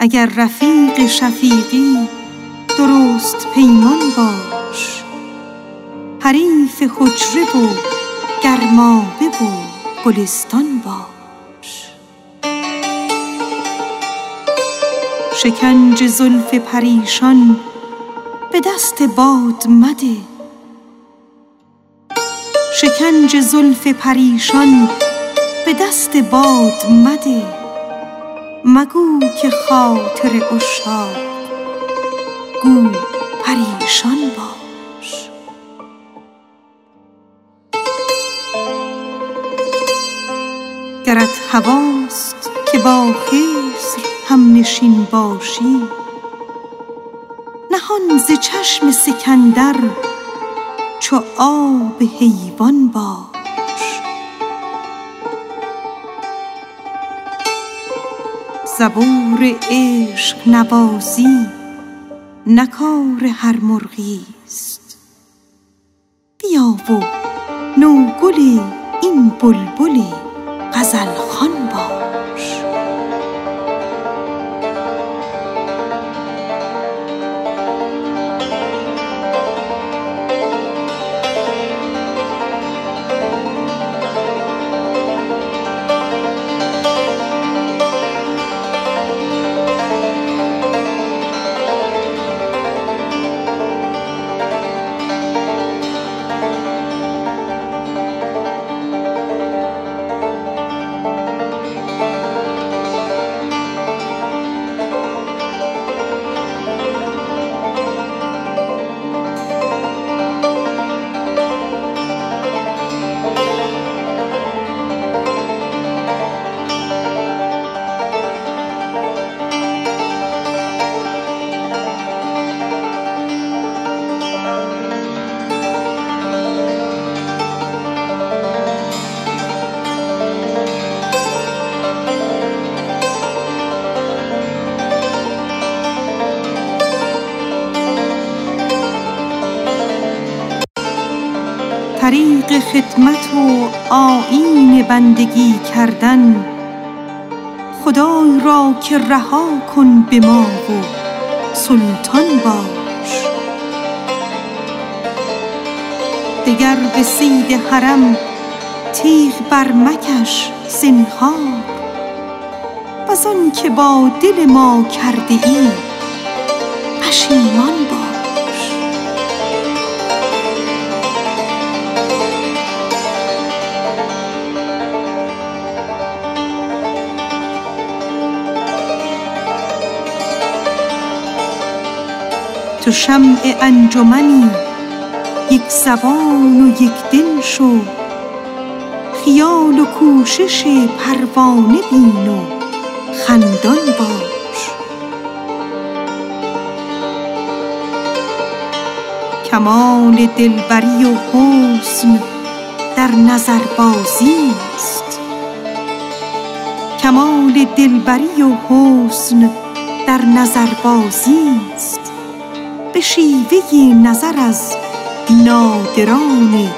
اگر رفیق شفیقی درست پیمان باش حریف خانه و گرمابه و گلستان باش شکنج زلف پریشان به دست باد مده مگو که خاطر عشاق گو پریشان باش گرت هواست که با خضر هم نشین باشی نهان ز چشم سکندر چو آب حیوان باش زبور عشق نوازی نه کار هر مرغی است بیا و نوگل این بلبل غزل خوان باش طریق خدمت و آیین بندگی کردن خدای را که رها کن به ما و سلطان باش دگر به صید حرم تیغ برمکش زنهار وز آن که با دل ما کرده ای پشیمان باش تو شمع انجمنی یک زبان و یک دل شو خیال و کوشش پروانه بین و خندان باش کمال دل بری و حسن در نظربازی است به شیوه نظر از نادران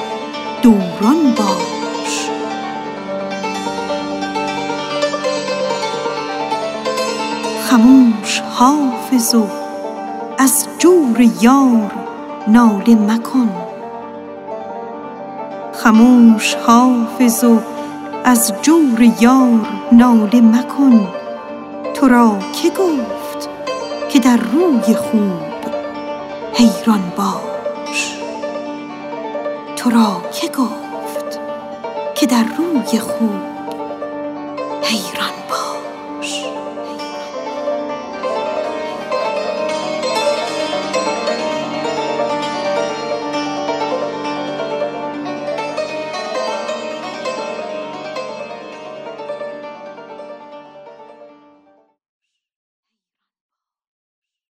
دوران باش خموش حافظ و از جور یار ناله مکن تو را که گفت که در روی خوب حیران باش